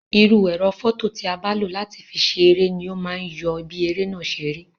Irú ẹ̀rọ fọto ti a bá lo láti fi ṣe eré ni o ma yọ bí eré náà ṣe rí.